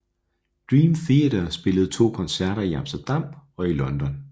Dream Theater spillede to koncerter i Amsterdam og i London